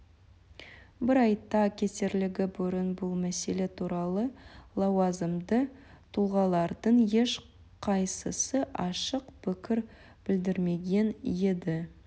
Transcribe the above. бір айта кетерлігі бұрын бұл мәселе туралы лауазымды тұлғалардың ешқайсысы ашық пікір білдірмеген еді